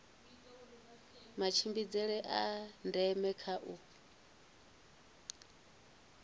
matshimbidzele a ndeme kha u